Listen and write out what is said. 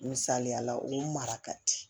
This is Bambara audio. Misaliyala o mara ka di